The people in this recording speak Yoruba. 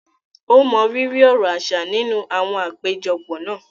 O mọrírì ọrọ̀ aṣa ninu àwọn apejọpọ náà.